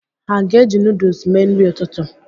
Ha ga-eji nuduls mee nri ụtụtụ?